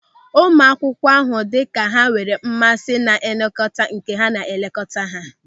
Ụmụ akwụkwọ ahụ dị ka ha enwere mmasị na nlekọta nke a na elekọta ha.